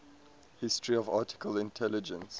history of artificial intelligence